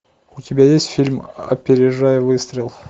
у тебя есть фильм опережая выстрел